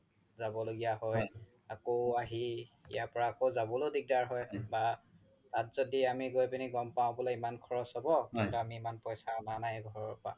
জাব লগিয়া হয় আকৌ আহি ইয়াৰ পৰা জাবলৈও দিগদাৰ হৈ বা তাত জ্দি আমি গৈ পিনে গ'ম পাও বুলে ইমান খৰচ হ্'ব ইমান পইচা আনা নাই ঘৰৰ পা